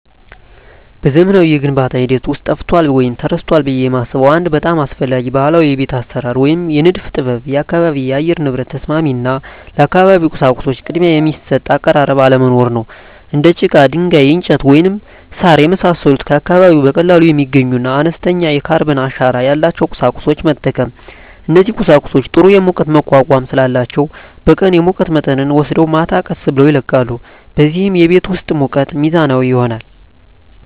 በዘመናዊው የግንባታ ሂደት ውስጥ ጠፍቷል ወይም ተረስቷል ብዬ የማስበው አንድ በጣም አስፈላጊ ባህላዊ የቤት አሰራር ወይም የንድፍ ጥበብ የአካባቢ የአየር ንብረት ተስማሚ እና ለአካባቢው ቁሳቁሶች ቅድሚያ የሚሰጥ አቀራረብ አለመኖር ነው። እንደ ጭቃ፣ ድንጋይ፣ እንጨት፣ ወይም ሣር የመሳሰሉ ከአካባቢው በቀላሉ የሚገኙና አነስተኛ የካርበን አሻራ ያላቸውን ቁሳቁሶች መጠቀም። እነዚህ ቁሳቁሶች ጥሩ የሙቀት መቋቋም ስላላቸው በቀን የሙቀት መጠንን ወስደው ማታ ቀስ ብለው ይለቃሉ፣ በዚህም የቤት ውስጥ ሙቀት ሚዛናዊ ይሆናል።